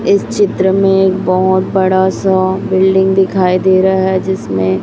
इस चित्र में बोहोत बड़ा सा बिल्डिंग दिखाई दे रहा है जिसमें--